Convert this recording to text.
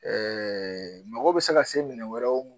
Ɛɛ mɔgɔ be se ka se minɛ wɛrɛw